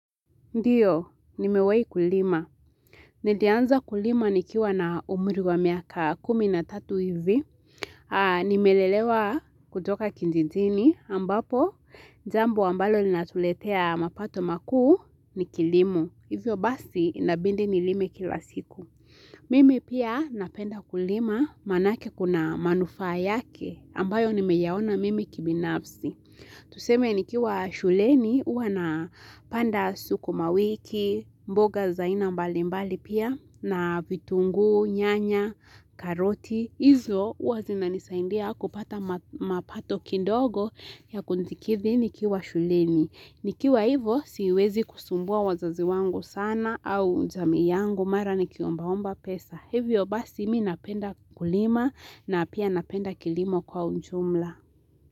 Ndiyo, nimewai kulima. Nilianza kulima nikiwa na umri wa miaka kumi na tatu hivi. Nimelelewa kutoka kijijini ambapo, jambu ambalo linatuletea mapato makuu ni kilimo. Hivyo basi, inabidi nilime kila siku. Mimi pia napenda kulima maanake kuna manufaa yake, ambayo nimeyaona mimi kibinafsi. Tuseme nikiwa shuleni, uwa na panda sukumawiki, mboga zaina mbali mbali pia, na vitungu, nyanya, karoti, izo huwa zina nisaindia kupata mapato kindogo ya kuntikivi nikiwa shuleni. Nikiwa hivo, siwezi kusumbua wazazi wangu sana au jamii yangu mara ni kiombaomba pesa. Hivyo basi mi napenda kulima na pia napenda kilimo kwa ujumla.